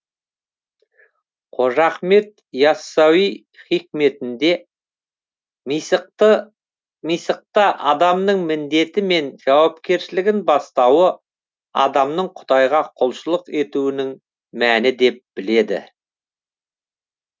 қожа ахмет иассауи хикметінде мисақты адамның міндеті мен жауапкершілігінің бастауы адамның құдайға құлшылық етуінің мәні деп біледі